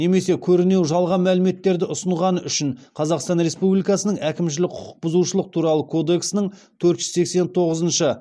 немесе көрінеу жалған мәліметтерді ұсынғаны үшін қазақстан республикасының әкімшілік құқық бұзушылық туралы кодексінің төрт жүз сексен тоғызыншы